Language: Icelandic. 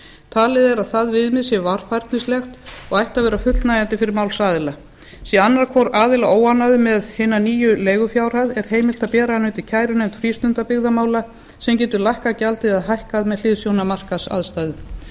talið er að það viðmið sé varfærnislegt og ætti að vera fullnægjandi fyrir málsaðila sé annar hvor aðila óánægður með hina nýju leigufjárhæð er heimilt að bera hana undir kærunefnd frístundabyggðamála sem getur lækkað gjaldið eða hækkað með hliðsjón af markaðsaðstæðum